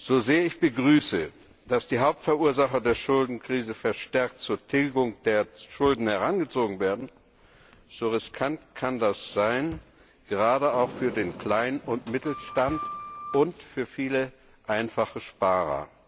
So sehr ich begrüße, dass die Hauptverursacher der Schuldenkrise verstärkt zur Tilgung der Schulden herangezogen werden, so riskant kann das sein, gerade auch für den Klein und Mittelstand und für viele einfache Sparer.